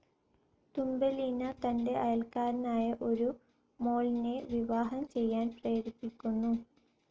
Thumbelina തന്റെ അയൽക്കാരനായ ഒരു മോൾനെ വിവാഹം ചെയ്യാൻ പ്രേരിപ്പിക്കുന്നു.